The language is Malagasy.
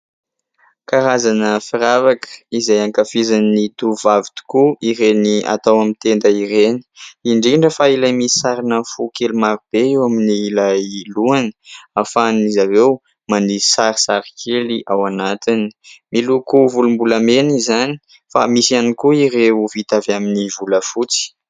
Karazana firavaka izay ankafizin'ny tovovavy tokoa ireny atao amin'ny tenda ireny, indrindra fa ilay misy sarina fo kely maro be eo amin'ny ilay lohany ahafahan'izy ireo manisy sarisary kely ao anatiny. Miloko volombolamena izany fa misy ihany koa ireo vita avy amin'ny volafotsy